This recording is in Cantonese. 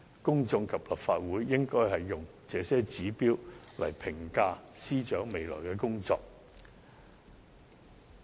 公眾及立法會應用這些指標來評價司長未來的工作。